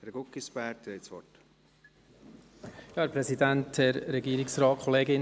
Herr Guggisberg, Sie haben das Wort.